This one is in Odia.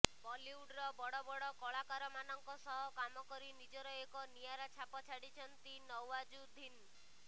ବଲିଉଡ଼ର ବଡ଼ ବଡ଼ କଳାକାରମାନଙ୍କ ସହ କାମ କରି ନିଜର ଏକ ନିଆରା ଛାପ ଛାଡ଼ିଛନ୍ତି ନଓ୍ବାଜୁଦ୍ଦିନ୍